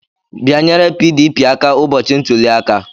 Bịanyere PDP aka ụbọchị ntuli aka!